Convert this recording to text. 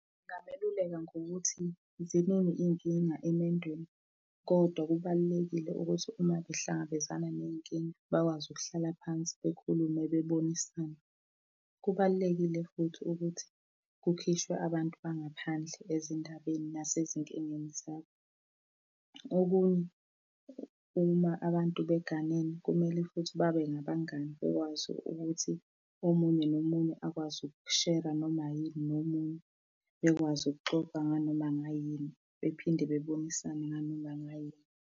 Ngabeluleka ngokuthi ziningi iy'nkinga emendweni, kodwa kubalulekile ukuthi uma behlangabezana ney'nkinga, bekwazi ukuhlala phansi bekhuluma bebonisane. Kubalulekile futhi ukuthi kukhishwe abantu bangaphandle ezindabeni nasezinkingeni zabo. Okunye, uma abantu beganile, kumele futhi babe nabangani bekwazi ukuthi omunye nomunye akwazi ukushera noma yini nomunye bekwazi ukuxoxa nganoma ngayini. Bephinde bebonisane nganoma ngayini.